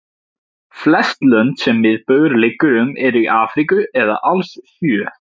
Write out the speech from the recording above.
Flest lönd sem miðbaugur liggur um eru í Afríku eða alls sjö.